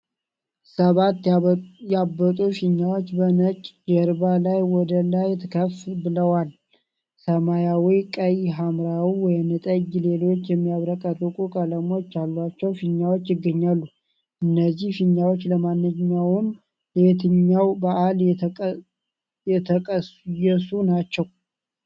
ሰባት ያበጡ ፊኛዎች በነጭ ጀርባ ላይ ወደላይ ከፍ ብለዋል። ሰማያዊ፣ ቀይ፣ ሐምራዊ፣ ወይንጠጅ እና ሌሎች የሚያብረቀርቁ ቀለሞች ያሏቸው ፊኛዎች ይገኛሉ። እነዚህ ፊኛዎች ለማንኛውም ለየትኛው በዓል የተቀየሱ ናቸው?